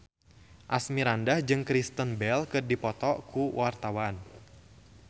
Asmirandah jeung Kristen Bell keur dipoto ku wartawan